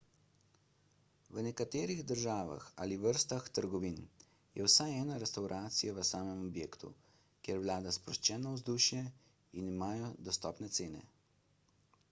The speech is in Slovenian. v nekaterih državah ali vrstah trgovin je vsaj ena restavracija v samem objektu kjer vlada sproščeno vzdušje in imajo dostopne cene